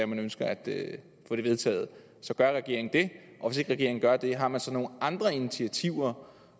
man ønsker at få det vedtaget gør regeringen det og hvis ikke regeringen gør det har den så nogle andre initiativer